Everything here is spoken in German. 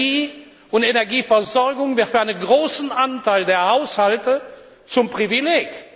Energie und Energieversorgung wird für einen großen Anteil der Haushalte zum Privileg.